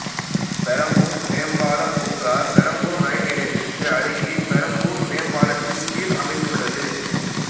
பெரம்பூர் மேம்பாலப் பூங்கா பெரம்பூர் இரயில் நிலையத்திற்கு அருகில் பெரம்பூர் மேம்பாலத்தின் கீழ் அமைந்துள்ளது